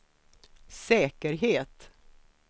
säkerhet